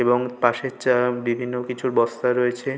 এবং পাশের যা বিভিন্ন কিছু বস্তা রয়েছে।